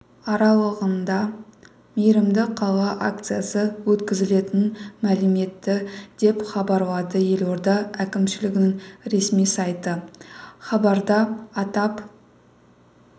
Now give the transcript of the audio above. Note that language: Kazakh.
аралығында мейірімді қала акциясы өткізілетінін мәлім етті деп хабарлады елорда әкімшілігінің ресми сайты хабарда атап